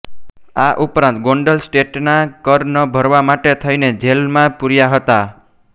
આ ઉપરાંત ગોંડલ સ્ટેટનાં કર ન ભરવા માટે થઈને જેલમાં પુર્યા હતાં